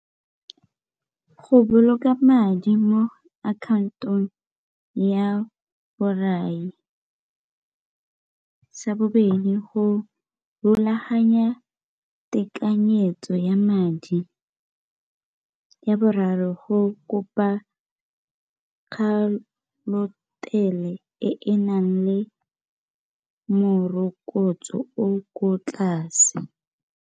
Go boloka madi mo account-ong ya borai. Sa bobedi, go golaganya tekanyetso ya madi. Ya boraro, go kopa e e nang le morokotso o o ko tlase.